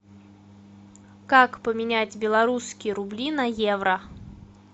как поменять белорусские рубли на евро